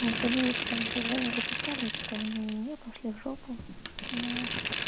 вот они мне потом ещё звонили писали я такая не не не пошли в жопу вот